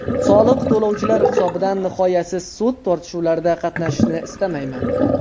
Soliq to‘lovchilar hisobidan nihoyasiz sud tortishuvlarida qatnashishni istamayman.